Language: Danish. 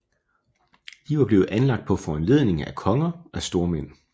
De var blevet anlagt på foranledning af konger af stormænd